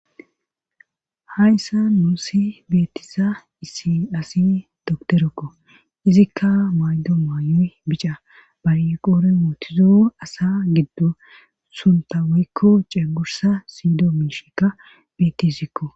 Hayssa nuusi beettisa issi asi doktorekko izikka maydo maayoy bica balqoore mootizo asa giddo sunta weykko ceegursa siido miishikka beettisikko.